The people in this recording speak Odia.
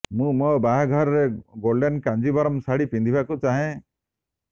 ମୁଁ ମୋ ବାହାଘରରେ ଗୋଲ୍ଡେନ୍ କାଞ୍ଜିଭରମ୍ ଶାଢ଼ୀ ପିନ୍ଧିବାକୁ ଚାହେଁ